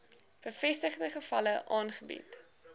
bevestigde gevalle aangebied